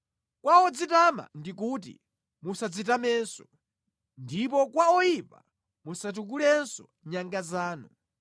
Kwa odzitama ndikuti, ‘Musadzitamenso,’ ndipo kwa oyipa, ‘Musatukulenso nyanga zanu.